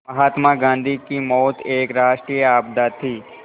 महात्मा गांधी की मौत एक राष्ट्रीय आपदा थी